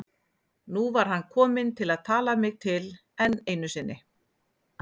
Nú var hann kominn til að tala mig til enn einu sinni.